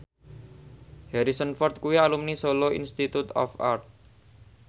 Harrison Ford kuwi alumni Solo Institute of Art